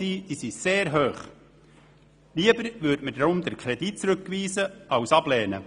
Lieber würden wir deshalb den Kredit zurückweisen, anstatt ihn abzulehnen.